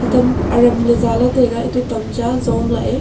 hatam aram ley za lah taiga atoh tamcha jong la a.